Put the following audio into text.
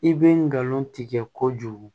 I bɛ nkalon tigɛ kojugu